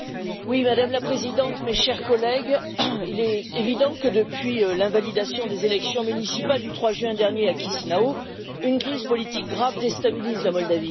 Madame la Présidente, mes chers collègues, il est évident que depuis l'invalidation des élections municipales du 3 juin dernier à Chisinau, une crise politique grave déstabilise la Moldavie.